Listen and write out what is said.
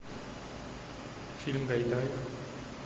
фильм гайдая